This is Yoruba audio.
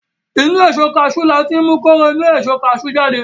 Inú Èso kaṣú láti mú kóró inú èso kaṣú jáde